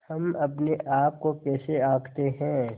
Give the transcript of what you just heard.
हम अपने आप को कैसे आँकते हैं